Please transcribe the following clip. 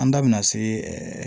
An da bina se